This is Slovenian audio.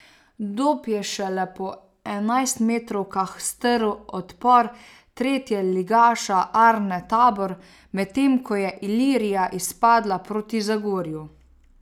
Dob je šele po enajstmetrovkah strl odpor tretjeligaša Arne Tabor, medtem ko je Ilirija izpadla proti Zagorju.